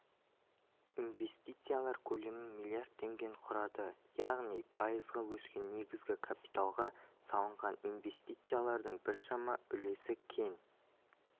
инвестициялар көлемі миллиард теңгені құрады яғни пайызға өскен негізгі капиталға салынған инвестициялардың біршама үлесі кен